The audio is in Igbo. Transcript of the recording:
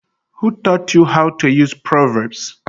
Who taught you how to use proverbs?